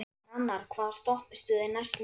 Hrannar, hvaða stoppistöð er næst mér?